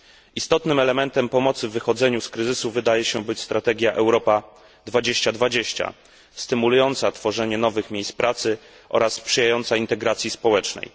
Istotnym elementem pomocy w wychodzeniu z kryzysu wydaje się być strategia Europa 2020, stymulująca tworzenie nowych miejsc pracy oraz sprzyjająca integracji społecznej.